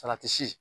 Salati si